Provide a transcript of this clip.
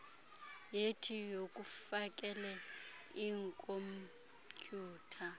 yethi yokufakele iikhompyutha